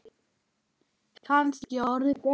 Kannski orðið betri maður.